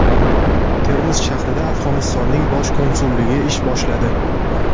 Termiz shahrida Afg‘onistonning bosh konsulligi ish boshladi.